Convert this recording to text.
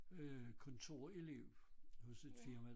Øh kontorelev hos et firma